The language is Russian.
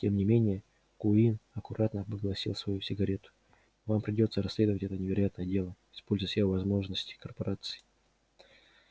тем не менее куинн аккуратно погасил свою сигарету вам придётся расследовать это невероятное дело используя все возможности корпорации